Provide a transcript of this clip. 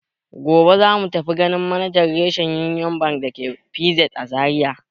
Gobe za mu tafi ganin manajan rashen Union Bank da ke PZ a Zariya.